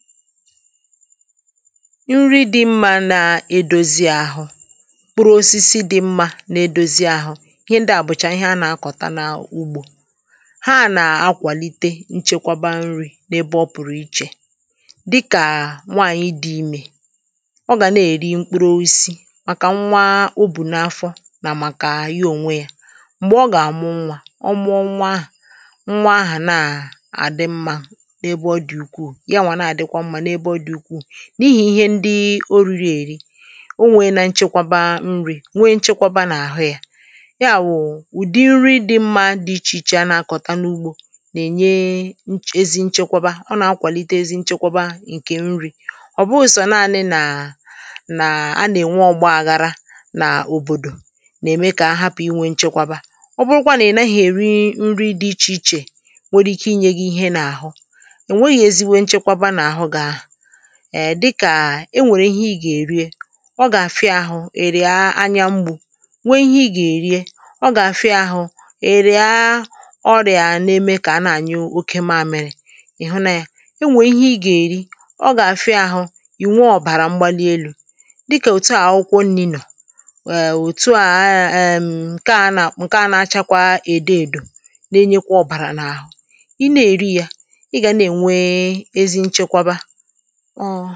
nri dị mmȧ na-edozi àhụ kpụrụ osisi dị mmȧ na-edozi ahụ̇ ihe ndi àbụ̀chà ihe a na-akọ̀ta n’ugbȯ ha na-akwàlite nchekwaba nri̇ n’ebe ọ pụ̀rụ̀ ichè dịkà nwaànyị dị imė ọ gà na-èri mkpụrụ oisi màkà nwa o bù n’afọ nà màkà ihe ònwe yȧ m̀gbè ọ gà-àmụ nwȧ ọ mụọ nwaahụ̀ nwaahụ̀ na-àdị mmȧ n’ebe ọ dị̀ ukwuù n’ihi ihe ndị o riri èri o nwèrè nachakwaba nri̇ nwè nchekwaba n’àhụ yȧ ya wụ̀ ụ̀dị nri dị̇ mmȧ dị ichè ichè a na-akọ̀ta n’ugbȯ nà-ènye ezi nchekwaba ọ nà-akwàlite ezi nchekwaba ǹkè nri̇ ọ̀ bụụ sọ̀ naanị nàà nà-anà ènwe ọgba aghara nà òbòdò nà-ème kà ahapụ̀ i nwė nchekwaba ọ bụrụkwa nà ị naghị èri nri dị ichè ichè nwere ike inye gị ihe n’àhụ èè dịkà e nwèrè ihe ị gà-èri e ọ gà-àfịa ahụ̇ èrè anya mgbu̇ nwee ihe ị gà-èri e ọ gà-àfịa ahụ̇ èrè a ọrịà na-eme kà a na-ànyị oke maȧmịrị ị̀ hụ na yȧ e nwè ihe ị gà-èri ọ gà-àfịa ahụ̇ ì nwee ọ̀bàrà mgbali elu̇ dịkà òtu à ọ̀ kwụọ nni nọ̀ èè òtu à ẹẹ̀ẹ̀ ǹkẹ a nà àkpụ̀ ǹkẹ a nà-achakwa èdo èdò na-enyekwa ọ̀bàrà n’ahụ ị na-èri yȧ ị gà na-ènwee ezi nchekwa ba ọ̀